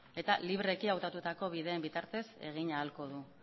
eta libreki hautatuko bideen bitartez egin ahalko du